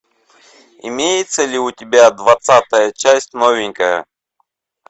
имеется ли у тебя двадцатая часть новенькая